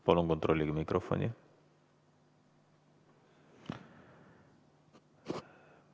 Palun kontrollige mikrofoni!